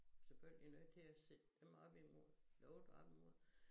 Selvfølgelig nødt til at sætte dem op imod noget op imod